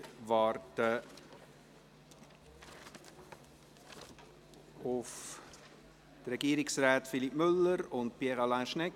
Wir warten auf die Regierungsräte Philippe Müller und Pierre Alain Schnegg.